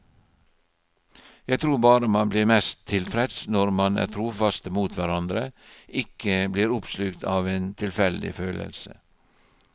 Jeg tror bare man blir mest tilfreds når man er trofaste mot hverandre, ikke blir oppslukt av en tilfeldig følelse.